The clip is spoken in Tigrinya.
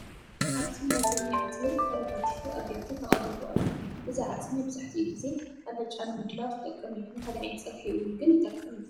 ኣብዚ ናይ ጐኒ ዓፅሚ ተኸረታቲፉ ኣብ ቢያቲ ተቐሪቡ ኣሎ፡፡ እዚ ዓፅሚ መብዛሕትኡ ግዜ ኣልጫ ንምድላው ዝጠቅም እዩ፡፡ ንካልእ ዓይነት ፀብሒ እውን ግን ይጠቅም እዩ፡፡